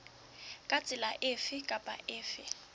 ka tsela efe kapa efe